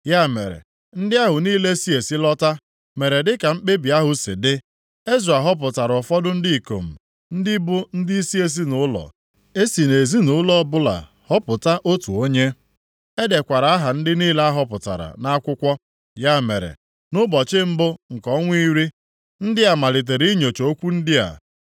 Ya mere, ndị ahụ niile si esi lọta, mere dịka mkpebi ahụ si dị. Ezra họpụtara ụfọdụ ndị ikom, ndị bụ ndịisi ezinaụlọ, e si nʼezinaụlọ ọbụla họpụta otu onye. E dekwara aha ndị niile a họpụtara nʼakwụkwọ. Ya mere, nʼụbọchị mbụ nke ọnwa iri, ndị a malitere inyocha okwu ndị a.